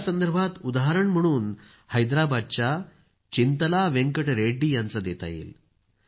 यासंदर्भात उदाहरण म्हणून हैद्राबादच्या चिंतला वेंकट रेड्डी यांचं देता येईल